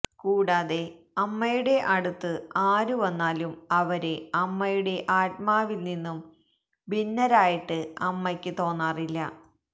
കൂടാതെ അമ്മയുടെ അടുത്ത് ആരുവന്നാലും അവര് അമ്മയുടെ ആത്മാവില്നിന്നും ഭിന്നരായിട്ട് അമ്മയ്ക്ക് തോന്നാറില്ല